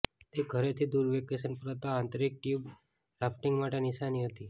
તે ઘરેથી દૂર વેકેશન પર હતા આંતરિક ટ્યુબ રાફ્ટિંગ માટે નિશાની હતી